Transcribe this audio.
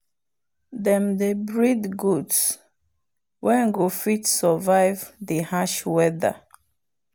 them dey breed goats wen go fit survive the harsh weather.